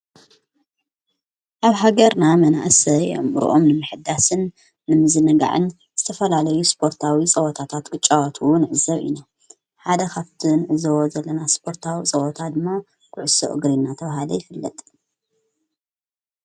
ኣብ ሃገርና መናእሰይ ኣእምረኦም ንምሕዳስን ንምዝነጋዕን ዝተፈላለዩ ስጶርታዊ ጸወታታት ክጫዋትውን ኣዕዘብ ኢና ሓደኻፍትን ዘወ ዘለና ስጶርታዊ ጸወታ ድሞ ብዕሱ እግሪ ናተብሃለ ይፍለጥ።